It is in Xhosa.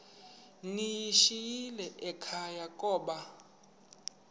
ndiyishiyile ekhaya koba